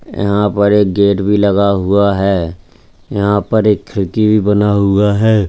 यहां पर एक गेट भी लगा हुआ है यहां पर एक खिड़की भी बना हुआ है।